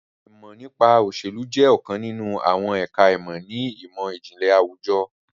Ìmọ̀ nípa òsèlú jẹ́ ọ̀kan nínú àwọn ẹ̀ka ìmọ̀ ni ìmọ̀-ìjìnlẹ̀ àwùjọ